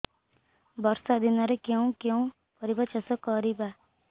ବର୍ଷା ଦିନରେ କେଉଁ କେଉଁ ପରିବା ଚାଷ କରିବା